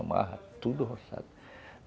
Amarra tudo o roçado.